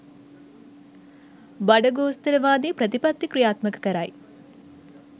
බඩගෝස්තරවාදී ප්‍රතිපත්ති ක්‍රියාත්මක කරයි.